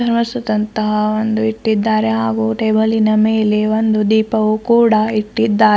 ವಾಸುತ್ತಂತಹ ಒಂದು ಇಟ್ಟಿದ್ದಾರೆ ಹಾಗೂ ಟೇಬಲಿನ ಮೇಲೆ ಒಂದು ದೀಪವು ಕೂಡ ಇಟ್ಟಿದ್ದಾರೆ.